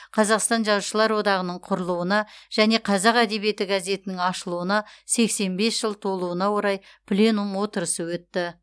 қазақстан жазушылар одағының құрылуына және қазақ әдебиеті газетінің ашылуына сексен бес жыл толуына орай пленум отырысы өтті